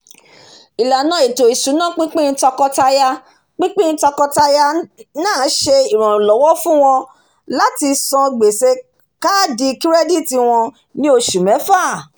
ìlànà ètò ìṣúná pínpín tọkọtaya pínpín tọkọtaya náà ṣe iranlọwọ fún wọn láti san gbèsè káàdì kirẹ́diti wọn ní oṣù mẹ́fà